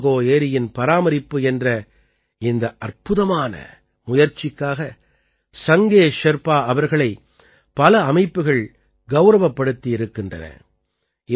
சோமகோ ஏரியின் பராமரிப்பு என்ற இந்த அற்புதமான முயற்சிக்காக சங்கே ஷெர்பா அவர்களை பல அமைப்புகள் கௌரவப்படுத்தி இருக்கின்றன